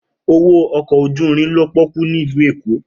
Owo ọkọ oju-irin lo poku ni ilu Eko.